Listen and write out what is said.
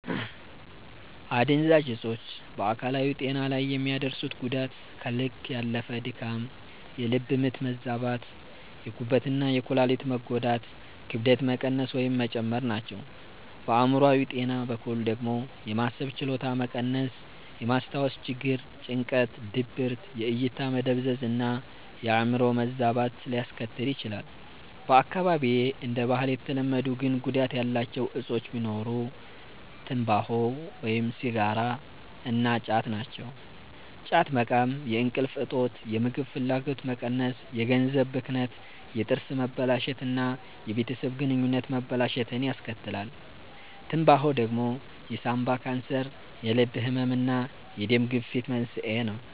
አደንዛዥ እጾች በአካላዊ ጤና ላይ የሚያደርሱት ጉዳት ከልክ ያለፈ ድካም፣ የልብ ምት መዛባት፣ የጉበት እና የኩላሊት መጎዳት፣ ክብደት መቀነስ ወይም መጨመር ናቸው። በአእምሮአዊ ጤና በኩል ደግሞ የማሰብ ችሎታ መቀነስ፣ የማስታወስ ችግር፣ ጭንቀት፣ ድብርት፣ የእይታ መደብዘዝ እና የአዕምሮ መዛባት ሊያስከትል ይችላል። በአካባቢዬ እንደ ባህል የተለመዱ ግን ጉዳት ያላቸው እጾች ቢኖሩ ትምባሆ (ሲጋራ) እና ጫት ናቸው። ጫት መቃም የእንቅልፍ እጦት፣ የምግብ ፍላጎት መቀነስ፣ የገንዘብ ብክነት፣ የጥርስ መበላሸት እና የቤተሰብ ግንኙነት መበላሸትን ያስከትላል። ትምባሆ ደግሞ የሳንባ ካንሰር፣ የልብ ህመም እና የደም ግፊት መንስኤ ነው።